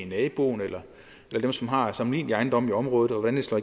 naboen eller dem som har sammenlignelige ejendomme i området hvordan slår